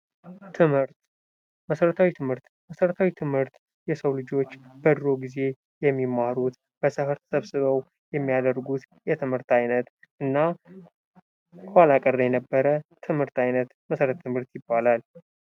ትምህርት መሰረተ- ትምህርት፦ መሰረተ ትምህርት የሰው ልጆች በድሮ ጊዜ ተሰብስበው የሚያደርጉት የትምህርት አይነት እና ኋላቀር የነበር የትምህርት አይነት መሰረተ-ትምህርት ይባላል።